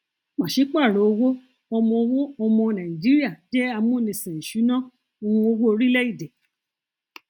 pàṣípàrọ owó ọmọ owó ọmọ nàìjíríà jẹ amúnisìn ìṣúnná um owó orílẹèdè